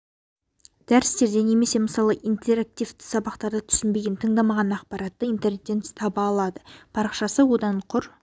дәрістерде немесе мысалы интерактивті сабақтарда түсінбеген тыңдамаған ақпаратты интернеттен таба алады парақшасы одан құр